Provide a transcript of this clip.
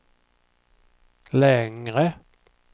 längre